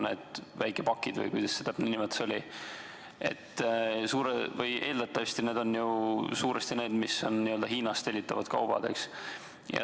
Need väikepakid, või kuidas see nimetus oli, on eeldatavasti ju suuresti Hiinast tellitavad kaubad, eks.